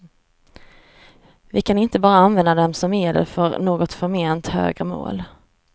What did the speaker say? Vi kan inte bara använda dem som medel för något förment högre mål.